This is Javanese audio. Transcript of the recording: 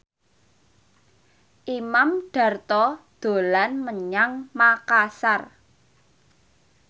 Imam Darto dolan menyang Makasar